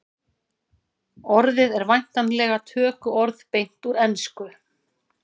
orðið er væntanlega tökuorð beint úr ensku